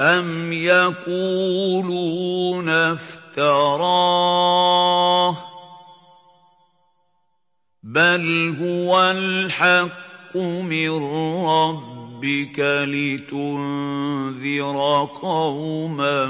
أَمْ يَقُولُونَ افْتَرَاهُ ۚ بَلْ هُوَ الْحَقُّ مِن رَّبِّكَ لِتُنذِرَ قَوْمًا